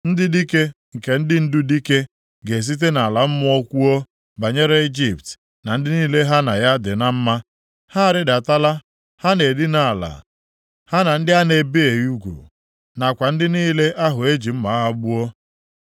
Ndị dike nke ndị ndu dike ga-esite nʼala mmụọ kwuo banyere Ijipt na ndị niile ha na ya dị na mma, ‘Ha arịdatala, ha na-edina ala ha na ndị a na-ebighị ugwu, nakwa ndị niile ahụ e ji mma agha gbuo.’